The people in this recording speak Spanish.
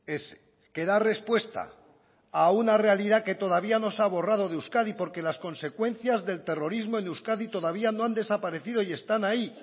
ese que da respuesta a una realidad que todavía no se ha borrado de euskadi porque las consecuencias del terrorismo en euskadi todavía no han desaparecido y están ahí